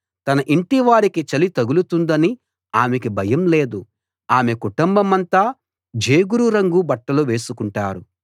తన ఇంటివారికి చలి తగులుతుందని ఆమెకు భయం లేదు ఆమె కుటుంబమంతా జేగురు రంగు బట్టలు వేసుకుంటారు